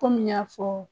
Kɔmi n y'a fɔ